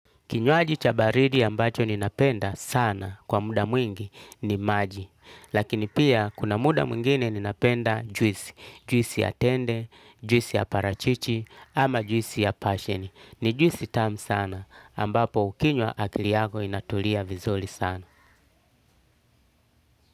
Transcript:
Kinywaji cha baridi ambacho ninapenda sana kwa muda mwingi ni maji, lakini pia kuna muda mwingine ninapenda juisi, juisi ya tende, juisi ya parachichi ama juisi ya passion. Ni juisi tamu sana ambapo ukinywa akili yako inatulia vizuri sana.